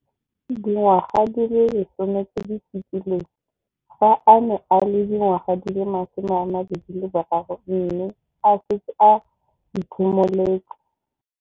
Dingwaga di le 10 tse di fetileng, fa a ne a le dingwaga di le 23 mme a setse a itshimoletse.